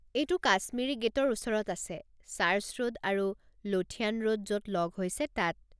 এইটো কাশ্মিৰী গে'টৰ ওচৰত আছে, চাৰ্চ ৰোড আৰু লোঠিয়ান ৰোড য'ত ল'গ হৈছে তাত।